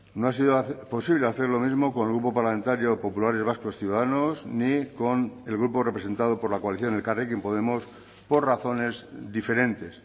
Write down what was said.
no ha sido posible hacer lo mismo con el grupo parlamentario populares vascos ciudadanos ni con el grupo representado por la coalición elkarrekin podemos por razones diferentes